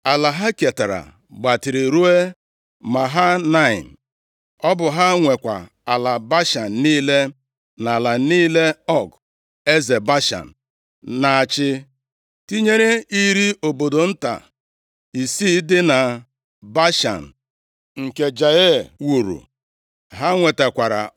Ala ha ketara gbatịrị ruo Mahanaim. Ọ bụ ha nwekwa ala Bashan niile, na ala niile Ọg, eze Bashan, na-achị, tinyere iri obodo nta isii dị na Bashan, nke Jaịa wuru. Ha nwetakwara